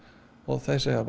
þeir segja